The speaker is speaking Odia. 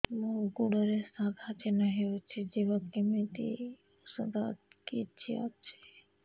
ମୋ ଗୁଡ଼ରେ ସାଧା ଚିହ୍ନ ହେଇଚି ଯିବ କେମିତି ଔଷଧ କିଛି ଅଛି